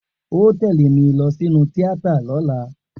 O óò tẹ̀lé mi lọ sínú tíátà lọ́la!